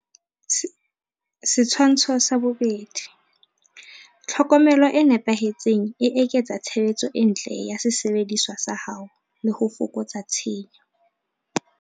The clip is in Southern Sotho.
Setshwantsho 2. Tlhokomelo e nepahetseng e eketsa tshebetso e ntle ya sesebediswa sa hao le ho fokotsa tshenyo.